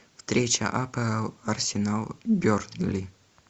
встреча апл арсенал бернли